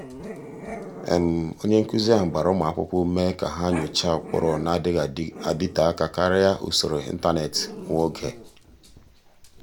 ọ́nye nkụ́zị́ ahụ́ gbara ụ́mụ́ ákwụ́kwọ́ ume kà há nyòcháá ụ́kpụ́rụ́ nà-adị́ghị́ ádị́tè áká kàrị́a usoro ị́ntánétị̀ nwa oge.